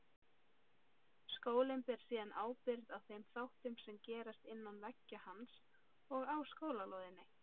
Skólinn ber síðan ábyrgð á þeim þáttum sem gerast innan veggja hans og á skólalóðinni.